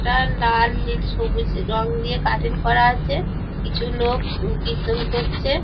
ইটা লাল নীল সবুজ রং দিয়ে কাটিং করা আছে কিছু লোক উ কীর্তন করছে।